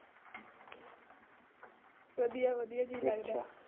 ਵਧੀਆਂ ਵਧੀਆਂ ਜੀਅ ਲੱਗ ਜਾਂਦਾ।